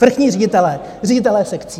Vrchní ředitelé, ředitelé sekcí.